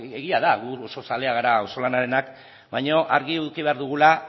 egia da gu oso zaleak gara auzolanarenak baina argi eduki behar dugula